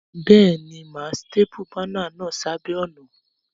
Béèni, mà á staple banner náà sébàá ònà